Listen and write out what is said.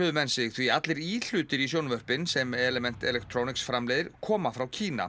menn sig því allir íhlutir í sjónvörpin sem element framleiðir koma frá Kína